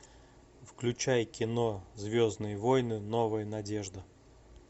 включай кино звездные войны новая надежда